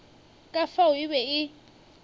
ka fao e be e